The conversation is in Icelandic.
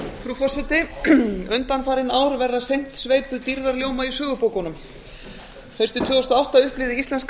frú forseti undanfarin ár verða seint sveipuð dýrðarljóma í sögubókunum haustið tvö þúsund og átta upplifði íslenska